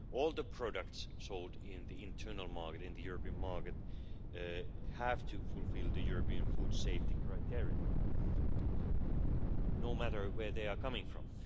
All the products sold on the internal market, on the European market, have to fulfil the European food safety criteria, no matter where they come from.